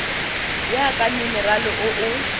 ya ka minerale o o